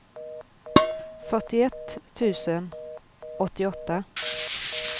fyrtioett tusen åttioåtta